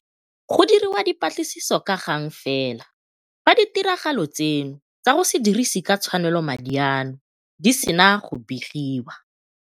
Go diriwa dipatlisiso ka gang fela fa ditiragalo tseno tsa go se dirise ka tshwanelo madi ano di sena go begiwa.